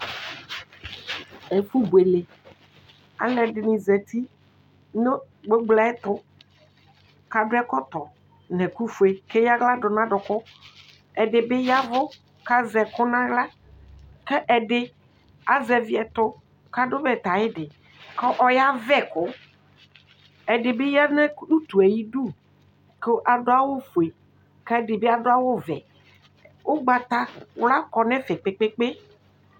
Ɛfʋ bʋele alʋ ɛdini zati nʋ gbogboyɛ tʋ akɔ ɛkɔtɔ nʋ ɛkʋfue kʋ eya aɣla dʋ nʋ adʋkʋ ɛdibi ya ɛvʋ kʋ azɛ ɛkʋ nʋ aɣla kʋ ɛdi azɛvi ɛtʋ kʋ adʋ bɛtɛ ayidi kʋ ɔyavɛ kʋ ɛdibi yanʋ utue ayʋ idʋ kʋ adʋ awʋfue kʋ ɛdibi adʋ awʋvɛ ʋgbatawla kɔnʋ ɛfɛ kpe kpe kpe